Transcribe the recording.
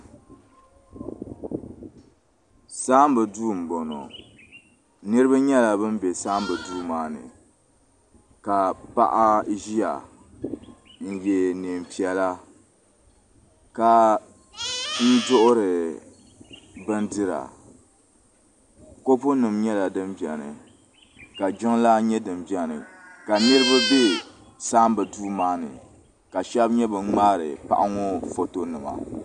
Saamba duu m boŋɔ niriba nyɛla ban be saamba duu maani ka paɣa ʒia n ye niɛn'piɛla ka duɣuri bindira kopu nima nyɛla din biɛni ka jiŋlaa nyɛ din biɛni ka niriba be saamba duu maani ka sheba nyɛ ban ŋmaari paɣa ŋɔ foto nima.